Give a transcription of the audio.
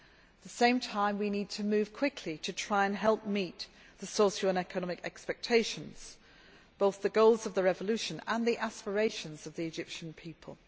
At the same time we need to move quickly to try and help meet the socio economic expectations both the goals of the revolution and the aspirations of the Egyptian people.